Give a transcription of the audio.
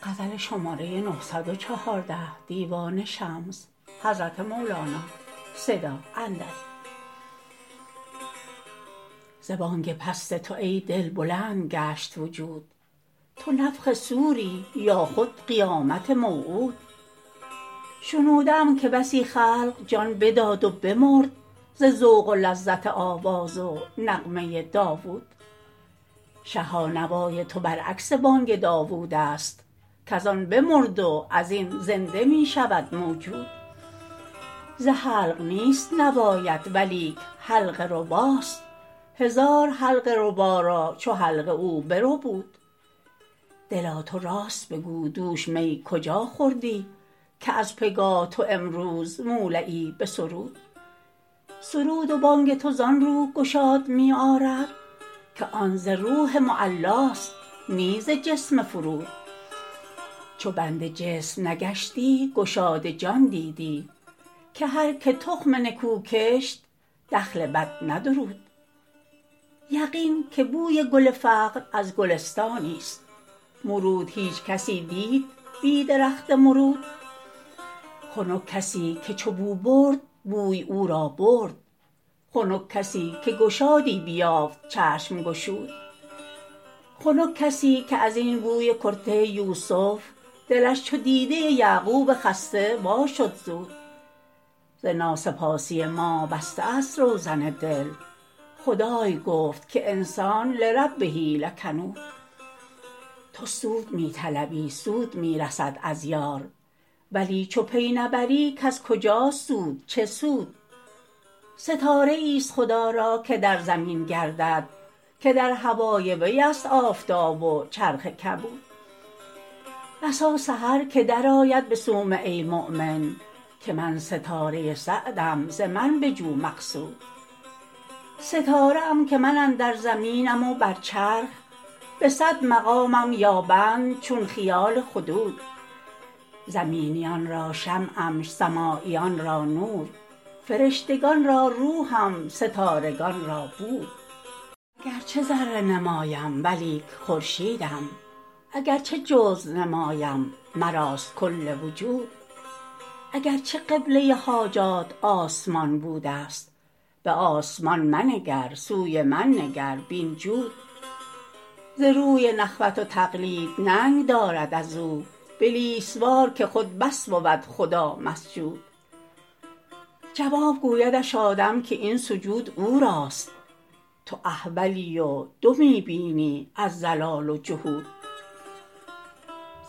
ز بانگ پست تو ای دل بلند گشت وجود تو نفخ صوری یا خود قیامت موعود شنوده ام که بسی خلق جان بداد و بمرد ز ذوق و لذت آواز و نغمه داوود شها نوای تو برعکس بانگ داوودست کز آن بمرد و از این زنده می شود موجود ز حلق نیست نوایت ولیک حلقه رباست هزار حلقه ربا را چو حلقه او بربود دلا تو راست بگو دوش می کجا خوردی که از پگاه تو امروز مولعی به سرود سرود و بانگ تو زان رو گشاد می آرد که آن ز روح معلاست نی ز جسم فرود چو بند جسم نگشتی گشاد جان دیدی که هر که تخم نکو کشت دخل بد ندرود یقین که بوی گل فقر از گلستانیست مرود هیچ کسی دید بی درخت مرود خنک کسی که چو بو برد بوی او را برد خنک کسی که گشادی بیافت چشم گشود خنک کسی که از این بوی کرته یوسف دلش چو دیده یعقوب خسته واشد زود ز ناسپاسی ما بسته است روزن دل خدای گفت که انسان لربه لکنود تو سود می طلبی سود می رسد از یار ولی چو پی نبری کز کجاست سود چه سود ستاره ایست خدا را که در زمین گردد که در هوای ویست آفتاب و چرخ کبود بسا سحر که درآید به صومعه مؤمن که من ستاره سعدم ز من بجو مقصود ستاره ام که من اندر زمینم و بر چرخ به صد مقامم یابند چون خیال خدود زمینیان را شمعم سماییان را نور فرشتگان را روحم ستارگان را بود اگر چه ذره نمایم ولیک خورشیدم اگر چه جزو نمایم مراست کل وجود اگر چه قبله حاجات آسمان بوده ست به آسمان منگر سوی من نگر بین جود ز روی نخوت و تقلید ننگ دارد از او بلیس وار که خود بس بود خدا مسجود جواب گویدش آدم که این سجود او راست تو احولی و دو می بینی از ضلال و جحود